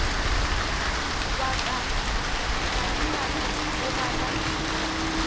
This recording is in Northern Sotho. wa ka madimabe o gana